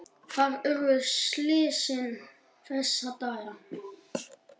Þar urðu slysin þessa daga.